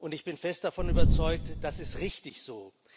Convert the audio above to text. Ich bin fest davon überzeugt Das ist richtig so!